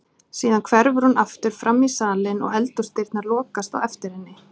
Síðan hverfur hún aftur framí salinn og eldhúsdyrnar lokast á eftir henni.